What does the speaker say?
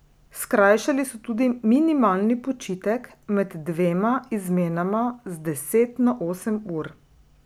Skrajšali so tudi minimalni počitek med dvema izmenama z deset na osem ur.